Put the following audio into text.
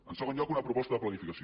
en segon lloc una proposta de planificació